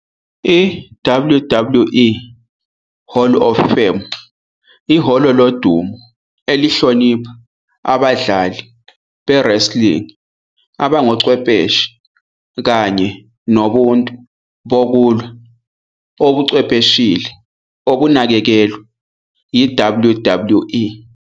I- WWE Hall of Fame ihholo lodumo elihlonipha abadlali be- wrestling abangochwepheshe kanye nobuntu bokulwa obuchwepheshile obunakekelwa yi- WWE.